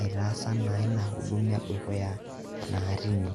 aitaasa ina huduma e dukuya naa teine.